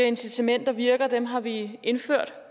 at incitamenter virker og at dem har vi indført